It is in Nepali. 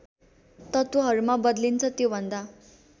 तत्त्वहरूमा बदलिन्छ त्योभन्दा